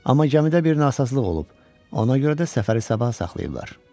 Amma gəmidə bir nasazlıq olub, ona görə də səfəri sabaha saxlayıblar.